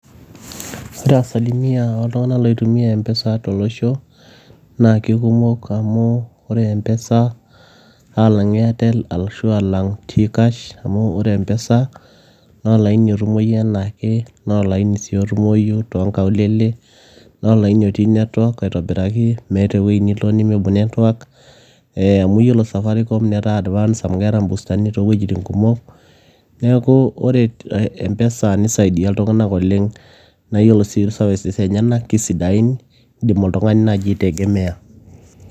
Ore asilimia oltung'anak oitumiya e M-Pesa tolosho alang' Airtel ashu T-Kash, naa kikumok amu ore e M-Pesa naa olaini otumoi enaake, naa olaini sii otumoyu too nkaulele, naa olaini otii netiwak aitobiraki, meeta eweji nilo nimibung' netiwak , amu iyielo Safaricom netaa advance amu keeta ibustani towejitin pooki, neeku iyiolo empesa naa kisidai oleng' idim naaji oltung'ani aitegemeya.